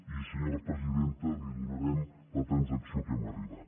i senyora presidenta li donarem la transacció a què hem arribat